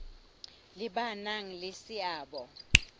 le ba nang le seabo